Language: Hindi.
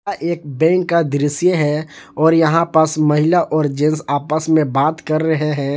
एक बैंक का दृश्य है और यहां पास महिला और जेंट्स आपस में बात कर रहे हैं।